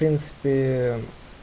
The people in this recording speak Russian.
принципе